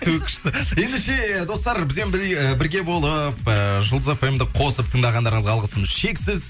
ту күшті ендеше достар бізбен бірге болып ыыы жұлдыз фмді қосып тыңдағандарыңызға алғысымыз шексіз